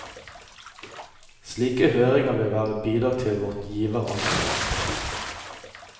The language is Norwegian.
Slike høringer vil være et bidrag til vårt giveransvar.